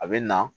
A bɛ na